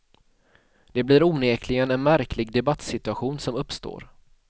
Det blir onekligen en märklig debattsituation som uppstår.